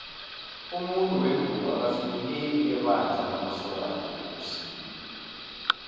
umuntu wengubo akafinyeleli ebandla lamasokana ekosini